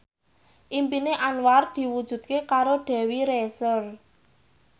impine Anwar diwujudke karo Dewi Rezer